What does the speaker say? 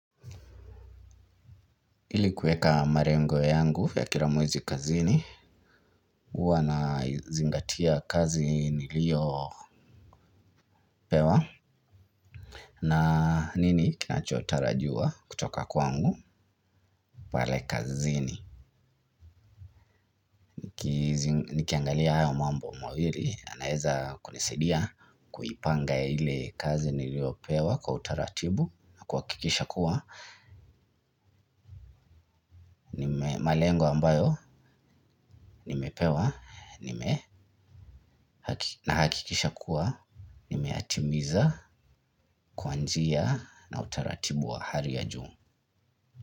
Ili kuweka malengo yangu ya kilamwezi kazini uwa na zingatia kazi niliyo pewa. Na nini kinachotarajiwa kutoka kwangu pale kazini. Nikiangalia ayo mambo mawili yanaweza kunisaidia. Kuipanga ile kazi niliyopewa kwa utaratibu na kuhakikisha kuwa malengo ambayo nimepewa nime nahakikisha kuwa nimeyatimiza kwanjia na utaratibu wa hali ya juu.